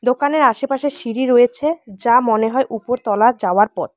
দোকানের আশেপাশে সিঁড়ি রয়েছে যা মনে হয় উপরতলা যাওয়ার পথ।